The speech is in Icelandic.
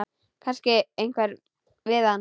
Kannast einhver við það?